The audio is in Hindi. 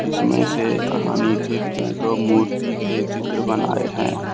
इसमें से आ नीचे में तो मूर्ति के चित्र बनाए हैं।